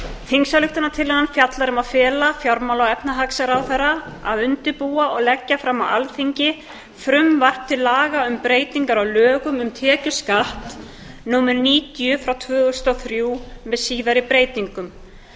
þingsályktunartillagan fjallar um að fela fjármála og efnahagsráðherra að undirbúa og leggja fram á alþingi frumvarp til laga um breytingar á lögum um tekjuskatt númer níutíu tvö þúsund og þrjú með síðari breytingum